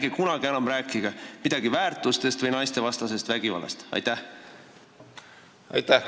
Ärge enam kunagi rääkige midagi väärtustest või naistevastasest vägivallast!